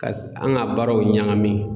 Ka an ka baaraw ɲagami.